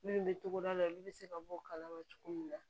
Minnu bɛ togoda la olu bɛ se ka bɔ o kalama cogo min na